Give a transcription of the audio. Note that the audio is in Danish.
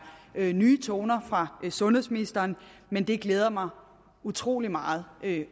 nye toner fra sundhedsministeren men det glæder mig utrolig meget at